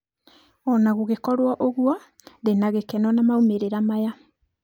Ũna gũgĩkũrwo ũguo ndĩnagĩkeno na maumerĩra maya.